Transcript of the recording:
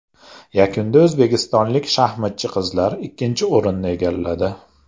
Yakunda o‘zbekistonlik shaxmatchi qizlar ikkinchi o‘rinni egalladi.